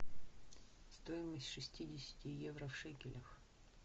стоимость шестидесяти евро в шекелях